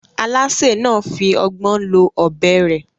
Alásè náà fi ọgbọ́n lo ọ̀bẹ rẹ̀